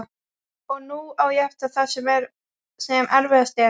Og nú á ég eftir það sem erfiðast er.